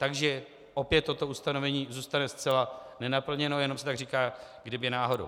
Takže opět toto ustanovení zůstane zcela nenaplněno, jenom se tak říká, kdyby náhodou.